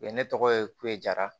U ye ne tɔgɔ ye kudara